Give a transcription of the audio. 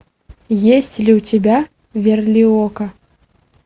есть ли у тебя верлиока